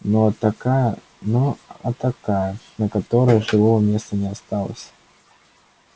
ну а такая ну а такая на которой живого места не осталось